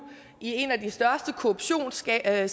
i en af de største korruptionsager